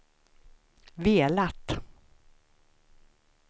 velat